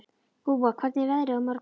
Gúa, hvernig er veðrið á morgun?